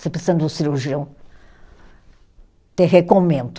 Você precisando de um cirurgião, te recomendo.